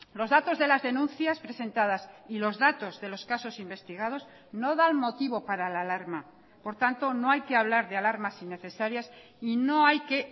los datos de las denuncias presentadas y los datos de los casos investigados no dan motivo para la alarma por tanto no hay que hablar de alarmas innecesarias y no hay que